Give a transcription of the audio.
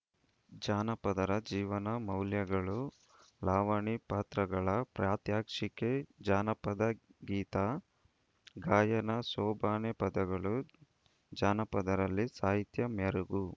ಜನಪದರ ಜೀವನ ಮೌಲ್ಯಗಳು ಲಾವಣಿ ಪಾತ್ರರಗಳ ಪ್ರಾತ್ಯಕ್ಷಿಕೆ ಜಾನಪದ ಗೀತ ಗಾಯನ ಸೋಬಾನೆ ಪದಗಳು ಜನಪದರಲ್ಲಿ ಸಾಹಿತ್ಯ ಮೆರುಗು